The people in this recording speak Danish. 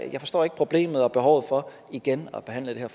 jeg forstår ikke problemet og behovet for igen at behandle det her